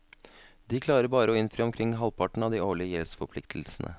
De klarer bare å innfri omkring halvparten av de årlige gjeldsforpliktelsene.